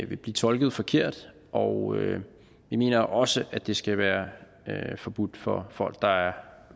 vil blive tolket forkert og jeg mener også at det skal være forbudt for folk der er